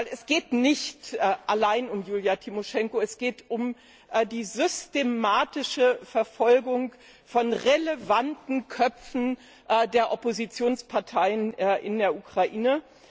Es geht nicht allein um Julia Timoschenko, es geht um die systematische Verfolgung von relevanten Köpfen der Oppositionsparteien in der Ukraine.